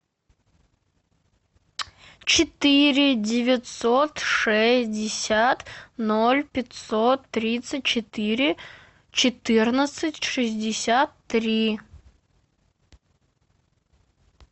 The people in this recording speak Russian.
четыре девятьсот шестьдесят ноль пятьсот тридцать четыре четырнадцать шестьдесят три